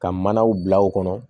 Ka manaw bila u kɔnɔ